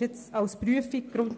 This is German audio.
Mit einer Prüfung